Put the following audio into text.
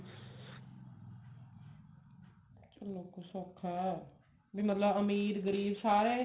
ਚਲੋ ਇਹਨਾ ਕੁ ਸੋਖਾ ਵੀ ਮਤਲਬ ਅਮੀਰ ਗਰੀਬ ਸਾਰੇ